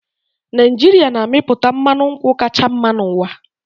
Naijiria na-amịpụta mmanụ nkwụ kacha mma n'ụwa